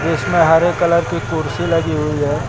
जिसमें हरे कलर की कुर्सी लगी हुई है।